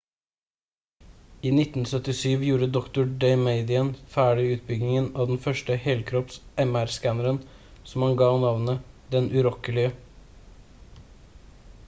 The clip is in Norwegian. i 1977 gjorde dr. damadian ferdig utbyggingen av den første «helkropps»-mr-skanneren som han gav navnet «den urokkelige»